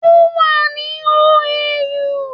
Ó wà ni OAU